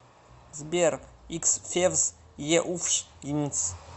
сбер х февс еуфш йнс